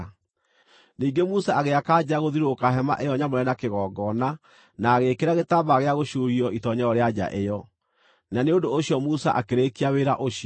Ningĩ Musa agĩaka nja gũthiũrũrũka hema ĩyo nyamũre na kĩgongona na agĩĩkĩra gĩtambaya gĩa gũcuurio itoonyero rĩa nja ĩyo. Na nĩ ũndũ ũcio Musa akĩrĩkia wĩra ũcio.